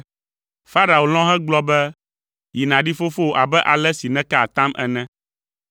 Farao lɔ̃ hegblɔ be, “Yi nàɖi fofowò abe ale si nèka atam ene.”